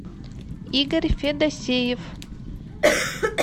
игорь федосеев